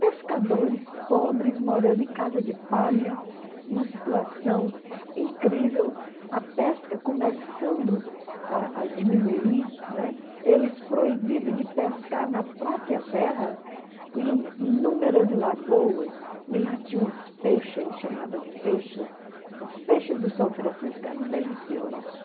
Pescadores pobres morando em casa de palha, uma situação incrível, a pesca começando a a diminuir, não é, eles proibidos de pescar na própria terra, com inúmeras lagoas, e lá tinham as peixas, ele chamava as peixas, as peixas do São Francisco eram deliciosas.